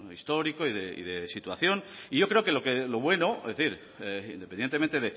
histórico y de situación y yo creo que lo bueno es decir independientemente